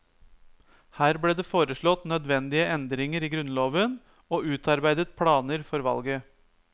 Her ble det foreslått nødvendige endringer i grunnloven, og utarbeidet planer for valget.